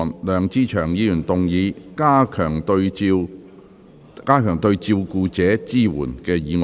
梁志祥議員動議的"加強對照顧者的支援"議案。